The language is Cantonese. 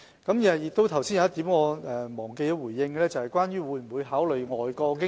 我剛才忘記回應一點，就是當局會否考慮外國經驗。